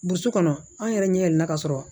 Burusi kɔnɔ an yɛrɛ ɲɛ yɛlɛla ka sɔrɔ